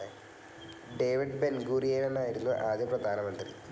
David ബെൻഗൂറിയാനായിരുന്നു ആദ്യ പ്രധാനമന്ത്രി.